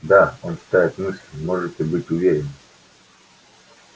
да он читает мысли можете быть уверены